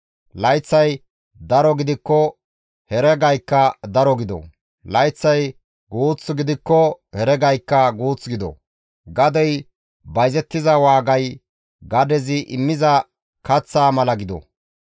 Layththay daro gidikko heregaykka daro gido; layththay guuth gidikko heregaykka guuth gido; gadey bayzettiza waagay gadezi immiza kaththaa mala gido.